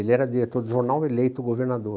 Ele era diretor do jornal eleito governador.